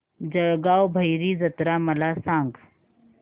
जळगाव भैरी जत्रा मला सांग